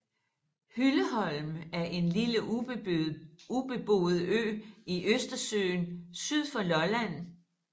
Hylleholm er en lille ubeboet ø i Østersøen syd for Lolland